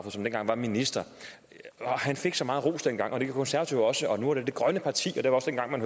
som dengang var minister han fik så meget ros dengang og det konservative også og nu var de det grønne parti det var også dengang man